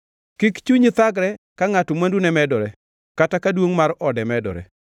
Kik chunyi thagre ka ngʼato mwandune medore, kata ka duongʼ mar ode medore;